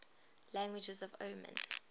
languages of oman